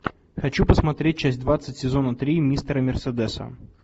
хочу посмотреть часть двадцать сезона три мистера мерседеса